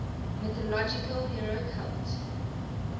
mythological hero cult